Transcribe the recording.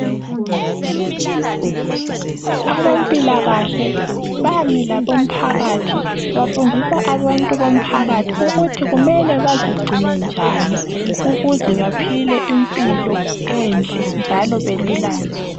Abempilakahle ,bami labo mphakathi ,bafundisa abantu bomphakathi ukuthi kumele bazigcine njani ukuze baphile impilo enhle njalo belulame.